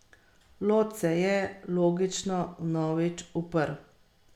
Nimam nobenih pripomb, ne bi spremenil niti sekunde, saj sem svoj nastop natreniral do potankosti.